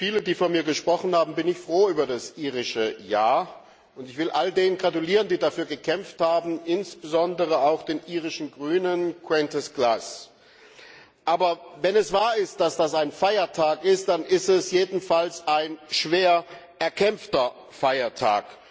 Wie viele, die vor mir gesprochen haben, bin ich froh über das irische Ja, und ich will all denen gratulieren, die dafür gekämpft haben, insbesondere auch den irischen Grünen Aber wenn es wahr ist, dass das ein Feiertag ist, dann ist es jedenfalls ein schwer erkämpfter Feiertag.